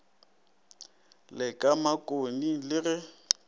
le ka makgoni le ge